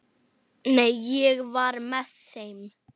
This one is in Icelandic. Nei, ég var með þeim.